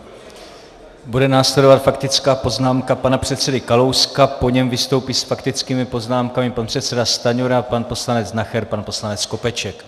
Bude následovat faktická poznámka pana předsedy Kalouska, po něm vystoupí s faktickými poznámkami pan předseda Stanjura, pan poslanec Nacher, pan poslanec Skopeček.